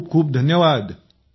खूप खूप धन्यवाद